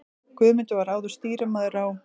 Guðmundur var áður stýrimaður á